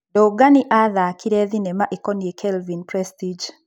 Ndung'ani athakire thinema ĩkoniĩ Kelvin Prestige.